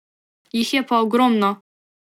Jih je pa ogromno.